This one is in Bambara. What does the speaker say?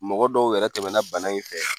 Mɔgɔ dɔw yɛrɛ tɛmɛna bana in fɛ